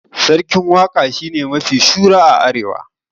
Sarkin waka shine mafi shura a arewa